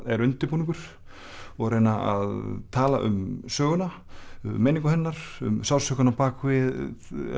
er undirbúningur og reyna að tala um söguna meiningu hennar sársaukann á bak við